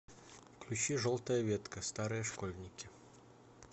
включи желтая ветка старые школьники